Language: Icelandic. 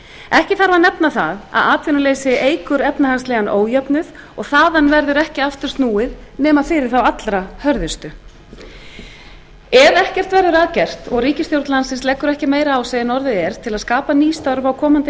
ekki þarf að nefna það að atvinnuleysi eykur efnahagslegan ójöfnuð og þaðan verður ekki aftur snúið nema fyrir þá allra hörðustu ef ekkert verður að gert og ríkisstjórn landsins leggur ekki meira á sig en orðið er til að skapa ný störf á komandi